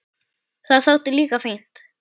Það þótti líka fínt.